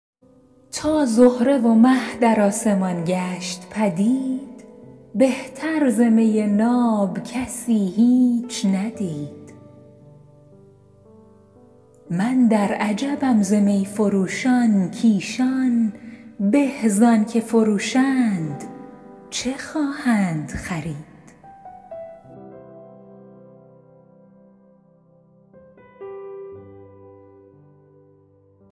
تا زهره و مه در آسمان گشت پدید بهتر ز می ناب کسی هیچ ندید من در عجبم ز می فروشان کایشان به زآنچه فروشند چه خواهند خرید